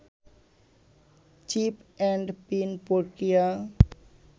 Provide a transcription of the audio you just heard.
chip and pin প্রক্রিয়া